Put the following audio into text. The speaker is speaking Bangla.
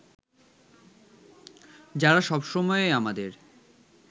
যারা সবসময়েই আমাদের